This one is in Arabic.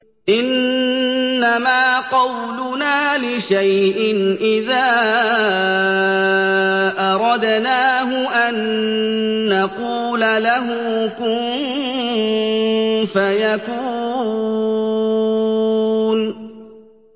إِنَّمَا قَوْلُنَا لِشَيْءٍ إِذَا أَرَدْنَاهُ أَن نَّقُولَ لَهُ كُن فَيَكُونُ